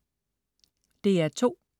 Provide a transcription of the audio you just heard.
DR2: